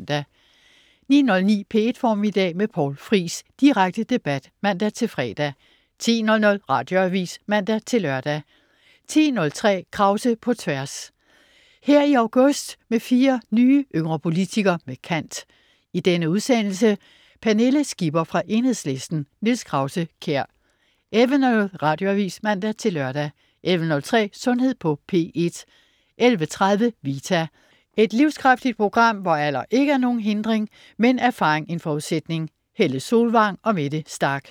09.09 P1 Formiddag med Poul Friis. Direkte debat (man-fre) 10.00 Radioavis (man-lør) 10.03 Krause på Tværs. Her i august med fire yngre politikere med kant. I denne udsendelse: Pernille Skipper fra Enhedslisten. Niels Krause-Kjær 11.00 Radioavis (man-lør) 11.03 Sundhed på P1 11.30 Vita. Et livskraftigt program, hvor alder ikke er nogen hindring, men erfaring en forudsætning. Helle Solvang og Mette Starch (man-fre)